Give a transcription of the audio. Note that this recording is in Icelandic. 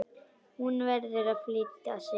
Hún verður að flýta sér.